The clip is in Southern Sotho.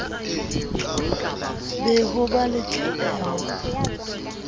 be ho ba la tahlehelo